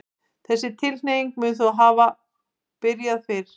Þessi tilhneiging mun þó hafa byrjað fyrr.